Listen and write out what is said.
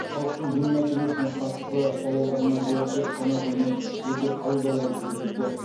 халықтың дін мәселесіне қатысты сауалдарына жауап беріп қана қоймай жеке қабылдаулар жүргізді